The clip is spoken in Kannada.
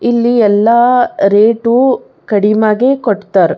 ಇಲ್ಲಿ ಎಲ್ಲಾ ರೇಟು ಕಡಿಮ್ಯಾಗೆ ಕೊಡತಾರ್.